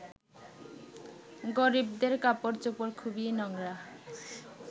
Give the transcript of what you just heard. গরিবদের কাপড়চোপড় খুবই নোংরা